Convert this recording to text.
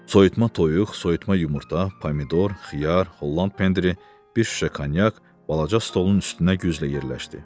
Soyutma toyuq, soyutma yumurta, pomidor, xiyar, Holland pendiri, bir şüşə konyak balaca stolun üstünə güclə yerləşdi.